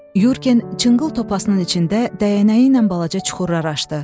Yurgen cınqıl topasının içində dəyənəyi ilə balaca çuxurlar açdı.